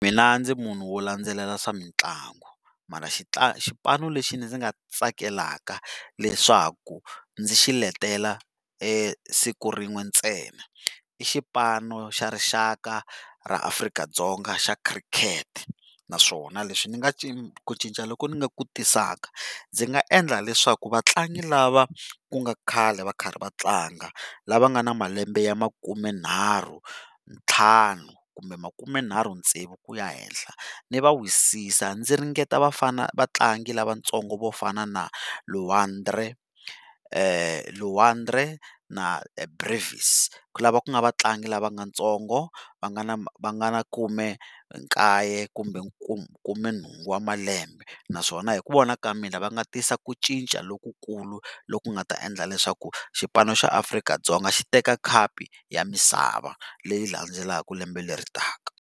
Mina ndzi munhu wo landzelela swa mitlangu mara xipano lexi ndzi nga tsakelaka leswaku ndzi xiletela siku rin'we ntsena i xipano xa rixaka ra Afrika-Dzonga xa khirikhete, naswona leswi ni nga ku cinca loko ndzi nga ku tisaka ndzi nga endla leswaku vatlangi lava ku nga khale va karhi va tlanga lava nga na malembe ya makumenharhu ntlhanu, kumbe makumenharhu tsevu ku ya henhla ndzi va wisisa ndzi ringeta vafana vatlangi lavatsongo vo fana na Luandri Luandri na lava ku nga vatlangi lava nga ntsongo va nga na va nga na khumekaye kumbe khumenhungu wa malembe naswona hi ku vona ka mina va nga tisa ku cinca lokukulu lo ku nga ta endla leswaku xipano xa Afrika-Dzonga xi teka khapu ya misava leyi landzelaka lembe leri taka.